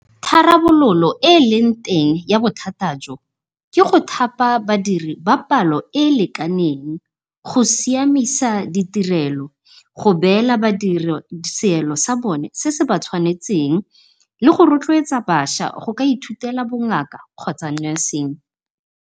Tharabololo e eleng teng ya bothata jo, ke go thapa badiri ba palo e e lekaneng. Go siamisa ditirelo, go beela badiri seelo sa bone se se ba tshwanetseng le go rotloetsa bašwa go ithutela bongaka kgotsa nursing.